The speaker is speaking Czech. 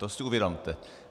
To si uvědomte.